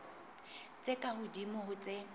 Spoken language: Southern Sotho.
tse ka hodimo ho tse